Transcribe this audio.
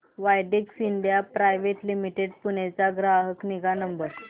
Widex India private limited Pune चा ग्राहक निगा नंबर